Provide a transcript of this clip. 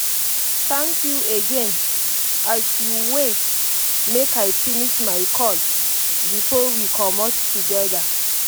thank you again as you wait make i finish my call before we comot together